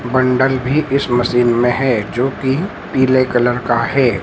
Bundle भी इस machine में है जोकि पीले कलर का है।